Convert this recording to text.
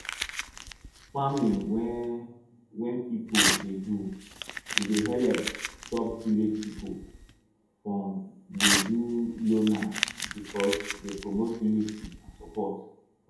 farming wey wey pipo dey do e dey helep stop village pipo from dey do loner because e dey promote unity and support